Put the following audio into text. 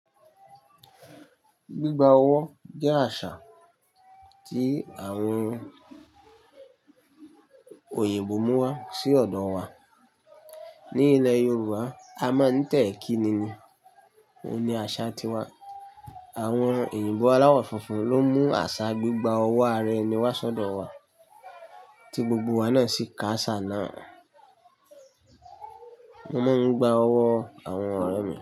Gbigba ọwọ́ jẹ́ àṣà tí àwọn oyinbò mú wá sí ọ̀dọ̀ wa. Ní ilẹ̀ Yorùbá a máa ń tẹ̀ẹ́ kíni ni, òun ni àṣà tiwa. Àwọn òyìnbó aláwọ̀ funfun ló mú àṣà gbigba ọwọ́ araẹni wá sọ́dọ̀ wa tí gbogbo wa náà sì ká àṣà náà. Mo máa ń gba ọwọ́ àwọn ọ̀rẹ́ mi.